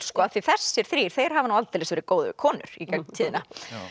því þessir þrír hafi aldeilis verið góðir konur í gegnum tíðina